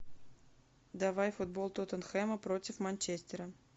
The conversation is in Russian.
давай футбол тоттенхэма против манчестера